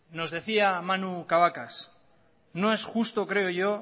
nos decía manu cabacas no es justo creo yo